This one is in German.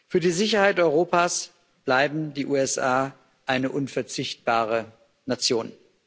Für die Sicherheit Europas bleiben die USA eine unverzichtbare Nation.